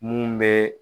Mun bɛ